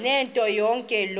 ntetho yonke loo